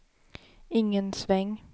ingen sväng